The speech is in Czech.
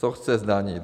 Co chce zdanit?